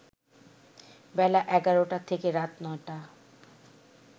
বেলা ১১টা থেকে রাত ৯টা